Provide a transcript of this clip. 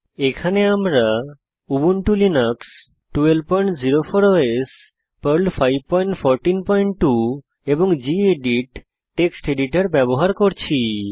এখানে আমরা Ubuntu Linux 1204 OS Perl 5142 এবং গেদিত টেক্সট এডিটর ব্যবহার করছি